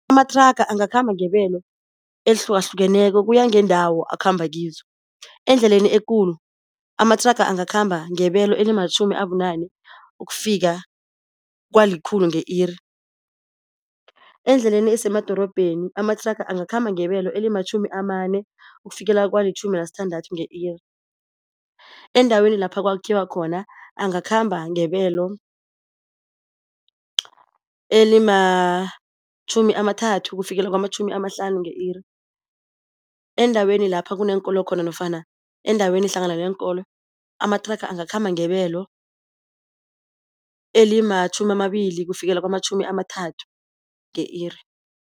Amathraga angakhamba ngebelo elihlukahlukeneko kuya ngendawo akhamba kizo. Endleleni ekulu amathraga angakhamba ngebelo elimatjhumi abunane ukufika kwalikhulu nge-iri. Endleleni esemadorobheni amathraga angakhamba ngebelo elimatjhumi amane ukufikela kwalitjhumi nasithandathu nge-iri. Endaweni lapha kwakhiwa khona angakhamba ngebelo elimatjhumi amathathu kufikela kwamatjhumi amahlanu nge-iri. Endaweni lapha kuneenkolo khona nofana endaweni hlangana neenkolo amathraga angakhamba ngebelo elimatjhumi amabili kufikela kwamatjhumi amathathu nge-iri.